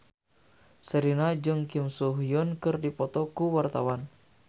Sherina jeung Kim So Hyun keur dipoto ku wartawan